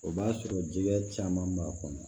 O b'a sɔrɔ jɛgɛ caman b'a kɔnɔ